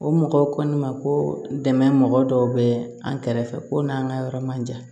O mɔgɔw ko ne ma ko dɛmɛ mɔgɔ dɔw bɛ an kɛrɛfɛ ko n'an ka yɔrɔ man jan